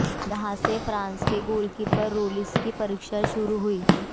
यहां से फ्रांस के गोलकीपर लोरिस की परीक्षा शुरू हुई